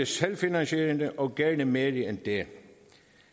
selvfinansierende og gerne mere end det